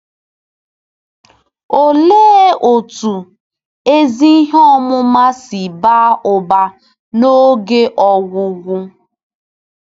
Olee otú ezi ihe ọmụma si baa ụba n’oge ọgwụgwụ?